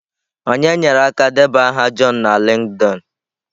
Onye nyere aka debanye aha john na LinkedIn?